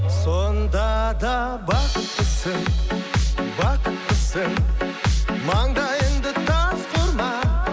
сонда да бақыттысың бақыттысың маңдайыңды тасқа ұрма